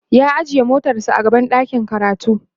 ya ajiye motar sa a gaban ɗakin karatu